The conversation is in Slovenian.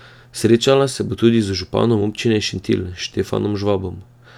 Srečala se bo tudi z županom občine Šentilj Štefanom Žvabom.